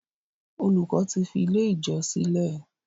Olùkó tí fí ilẹ̀ ijọ sílè.